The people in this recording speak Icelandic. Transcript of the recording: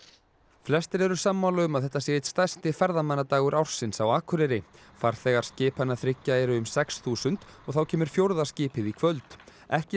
flestir eru sammála um að þetta sé einn stærsti ferðamannadagur ársins á Akureyri farþegar skipanna þriggja eru um sex þúsund og þá kemur fjórða skipið í kvöld ekki